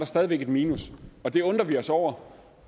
stadigvæk et minus og det undrer vi os over